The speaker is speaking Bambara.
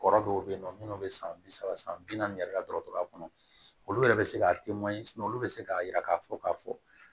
Kɔrɔ dɔw bɛ yen nɔ minnu bɛ san bi saba san bi naani yɛrɛ dɔgɔtɔrɔya kɔnɔ olu yɛrɛ bɛ se ka olu bɛ se k'a yira k'a fɔ k'a fɔ